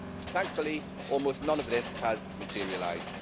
Thankfully, almost none of this has materialised.